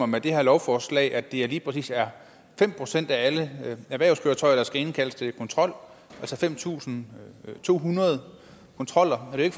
med det her lovforslag bestemmer at det lige præcis er fem procent af alle erhvervskøretøjer der skal indkaldes til kontrol altså fem tusind to hundrede kontroller det er